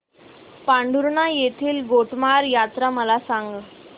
पांढुर्णा येथील गोटमार यात्रा मला सांग